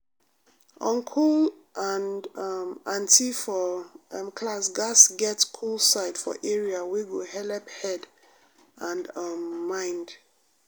uncle and um auntie for um class gatz get cool side for area wey go helep head and um mind.